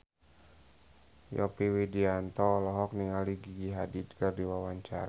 Yovie Widianto olohok ningali Gigi Hadid keur diwawancara